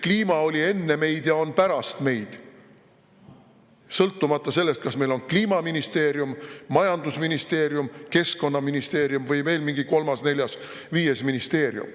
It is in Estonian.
Kliima oli enne meid ja on pärast meid, sõltumata sellest, kas meil on Kliimaministeerium, majandusministeerium, keskkonnaministeerium või veel mingi kolmas-neljas-viies ministeerium.